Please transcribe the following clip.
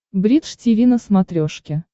бридж тиви на смотрешке